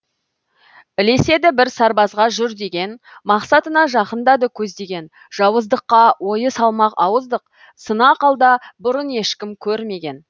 ілеседі бір сарбазға жүр деген мақсатына жақындады көздеген жауыздыққа ойы салмақ ауыздық сынақ алда бұрын ешкім көрмеген